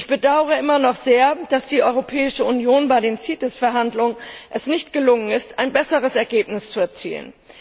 Ich bedauere immer noch sehr, dass es der Europäische Union bei der CITES Verhandlung nicht gelungen ist, ein besseres Ergebnis zu erzielen.